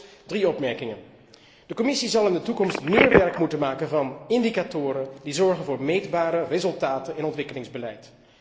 Aldus drie opmerkingen. Ten eerste, de Commissie zal in de toekomst meer werk moeten maken van indicatoren die zorgen voor meetbare resultaten in ontwikkelingsbeleid.